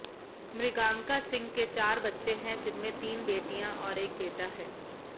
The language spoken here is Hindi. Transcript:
मृगांका सिंह के चार बच्चे हैं जिनमें तीन बेटियां और एक बेटा है